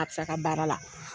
A bi s'a ka baara la.